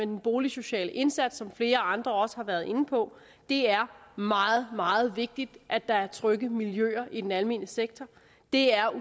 den boligsociale indsats sådan som flere andre også har været inde på det er meget meget vigtigt at der er trygge miljøer i den almene sektor det er